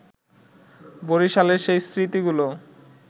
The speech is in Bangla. বরিশালের সেই স্মৃতিগুলো